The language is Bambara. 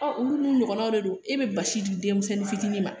olu ɲɔgɔnna de don e bɛ basi di denmisɛnnin fitinin ma